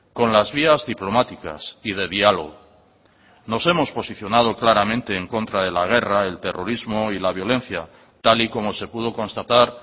con las vías diplomáticas y de diálogo nos hemos posicionado claramente en contra de la guerra el terrorismo y la violencia tal y como se pudo constatar